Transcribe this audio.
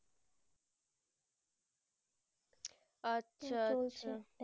আচ্ছা